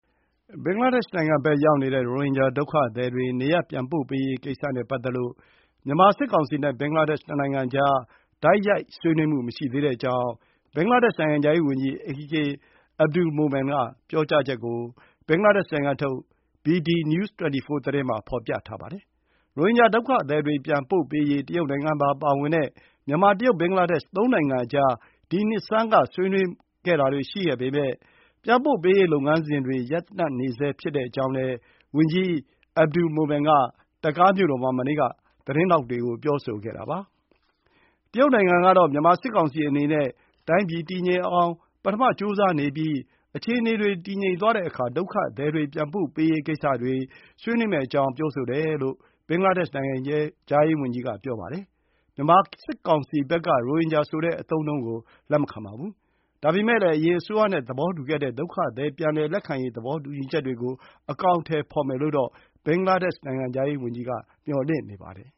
ဘင်္ဂလားဒေ့ရှ်နိုင်ငံဘက် ရောက်နေတဲ့ ရိုဟင်ဂျာ ဒုက္ခသည်တွေ နေရပ်ပြန်ပို့ရေးကိစ္စနဲ့ ပတ်သက်လို့ မြန်မာစစ်ကောင်စီနဲ့ ဘင်္ဂလားဒေ့ရှ် နှစ်နိုင်ငံအကြား တိုက်ရိုက်ဆွေးနွေးမှု မရှိသေးတဲ့အကြောင်း ဘင်္ဂလားဒေ့ရှ် နိုင်ငံခြားရေးဝန်ကြီး AK Abdul Momen ပြောကြားချက်ကို ဘင်္ဂလားဒေ့ရှ်နိုင်ငံထုတ် bdnews24 သတင်းမှာ ဖေါ်ပြပါတယ်။ ရိုဟင်ဂျာဒုက္ခသည်တွေ ပြန်ပို့ရေး တရုတ်နိုင်ငံပါ ပါဝင်တဲ့ မြန်မာ၊ တရုတ်၊ ဘင်္ဂလားဒေ့ရှ် သုံးနိုင်ငံအကြား ဒီနှစ်ဆန်းက ဆွေးနွေးမှုတွေရှိခဲ့ပေမဲ့ ပြန်ပို့ရေးလုပ်ငန်းစဉ်တွေ ရပ်တန့်နေဆဲ ဖြစ်တဲ့အကြောင်းလည်း ဝန်ကြီး AK Abdul Momen က ဒက္ကာမြို့တော်မှာ မနေ့က သတင်းထောက်တွေကို ပြောဆိုတာပါ။ တရုတ်နိုင်ငံကတော့ မြန်မာစစ်ကောင်စီအနေနဲ့ တိုင်းပြည်တည်ငြိမ်အောင် ပထမကြိုးစားနေပြီး အခြေအနေတွေ တည်ငြိမ်သွားတဲ့အခါ ဒုက္ခသည်ပြန်ပို့ရေးကိစ္စတွေ ဆွေးနွေးမယ့်အကြောင်း ပြောဆိုတယ်လို့ ဘင်္ဂလားဒေ့ရှ် နိုင်ငံခြားရေးဝန်ကြီးက ပြောပါတယ်။ မြန်မာစစ်ကောင်စီဘက်က ရိုဟင်ဂျာဆိုတဲ့ အသုံးအနှုန်းကို လက်မခံပါဘူး။ ဒါပေမဲ့လည်း အရင်အစိုးရနဲ့ သဘောတူခဲ့တဲ့ ဒုက္ခသည် ပြန်လည်လက်ခံရေး သဘောတူညီချက်တွေကို အကောင်အထည်ဖော်မယ်လို့တော့ ဘင်္ဂလားဒေ့ရှ် နိုင်ငံခြားရေးဝန်ကြီးက မျှော်လင့်နေပါတယ်